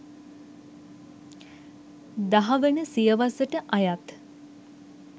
දහවන සියවසට අයත්